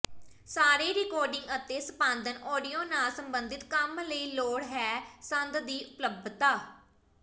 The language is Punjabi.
ਸਾਰੇ ਰਿਕਾਰਡਿੰਗ ਅਤੇ ਸੰਪਾਦਨ ਆਡੀਓ ਨਾਲ ਸਬੰਧਿਤ ਕੰਮ ਲਈ ਲੋੜ ਹੈ ਸੰਦ ਦੀ ਉਪਲੱਬਧਤਾ